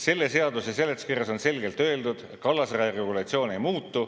Selle seaduse seletuskirjas on selgelt öeldud: kallasraja regulatsioon ei muutu.